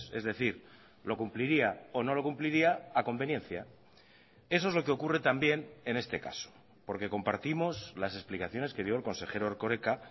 es decir lo cumpliría o no lo cumpliría a conveniencia eso es lo que ocurre también en este caso porque compartimos las explicaciones que dio el consejero erkoreka